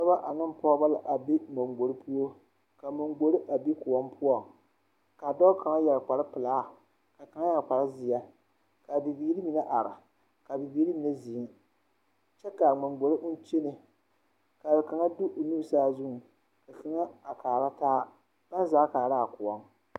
Dɔbɔ ane pɔɔbɔ la a be mangbore poɔ kaa mangbore a be kõɔ poɔŋ kaa dɔɔ kaŋa yɛre kpare pelaa kaa kaŋ yɛre kparezeɛ kaa bibiire mine are kaa bibiire mine zeŋ kyɛ kaa mangbore oŋ kyɛne kaa kaŋa de o nu saazuŋ ka kaŋa a kaara taa baŋ zaa kõɔŋ.